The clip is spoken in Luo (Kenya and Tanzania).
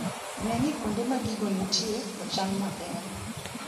Ne ni kuonde ma gigo nitie ochan maber.